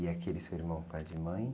E aquele seu irmão, por parte de mãe?